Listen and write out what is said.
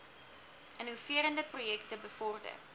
innoverende projekte bevorder